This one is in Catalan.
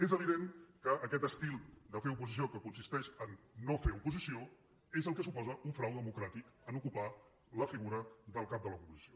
és evident que aquest estil de fer oposició que consisteix a no fer oposició és el que suposa un frau democràtic en ocupar la figura del cap de l’oposició